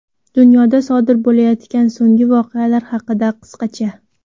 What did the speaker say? Dunyoda sodir bo‘layotgan so‘nggi voqealar haqida qisqacha:.